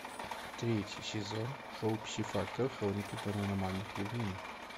третий сезон шоу пси фактор хроники паранормальных явлений